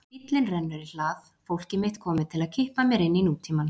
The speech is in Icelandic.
Bíllinn rennur í hlað, fólkið mitt komið til að kippa mér inn í nútímann.